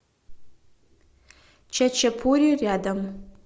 чачапури рядом